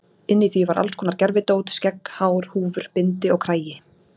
Inni í því var alls konar gervidót, skegg, hár, húfur, bindi og kragi.